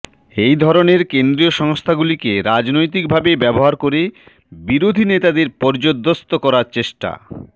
এই ধরনের কেন্দ্রীয় সংস্থাগুলিকে রাজনৈতিক ভাবে ব্যবহার করে বিরোধী নেতাদের পর্যুদস্ত করার চেষ্টা